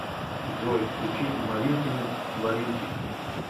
джой включи маринкины творинки